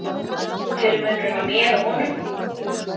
Hver er munurinn á mér og honum?